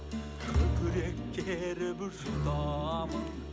көкірек керіп жұтамын